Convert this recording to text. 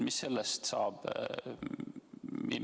Mis sellest saab?